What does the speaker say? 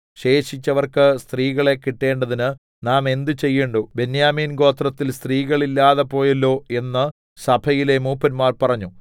ശേഷിച്ചവർക്ക് സ്ത്രീകളെ കിട്ടേണ്ടതിന് നാം എന്ത് ചെയ്യേണ്ടു ബെന്യാമീൻ ഗോത്രത്തിൽ സ്ത്രീകൾ ഇല്ലാതെ പോയല്ലൊ എന്ന് സഭയിലെ മൂപ്പന്മാർ പറഞ്ഞു